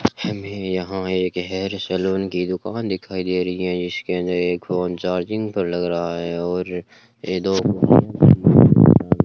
हमें यहां एक हेयर सैलून की दुकान दिखाई दे रही है जिसके अंदर एक फोन चार्जिंग पर लग रहा है और ये दो --